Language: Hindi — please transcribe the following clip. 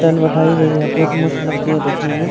दाल बटाई हुई है बहुत मस्त लगती है देखने में --